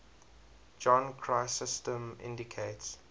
john chrysostom indicates